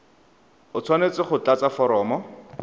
o tshwanetse go tlatsa foromo